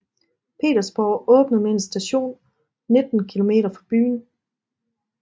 Petersborg åbnet med en station 19 km fra byen